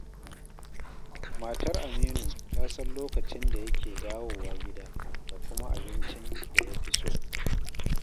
Matar Aminu ta san lokacin da yake dawowa gida da kuma abincin da ya fi so.